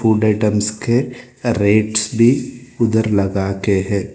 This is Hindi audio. गुड आइटम्स के रेट्स भी उधर लगाके है।